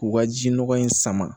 K'u ka ji nɔgɔ in sama